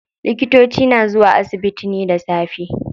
Likitoci na zuwa asibiti ne da safe.